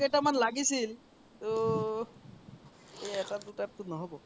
কেইটা মান লাগিছিল তো এই এটা দূটা তো নহব